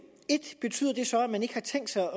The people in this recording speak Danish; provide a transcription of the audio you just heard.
betyder det så at man ikke har tænkt sig